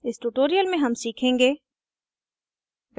इस tutorial में हम सीखेंगे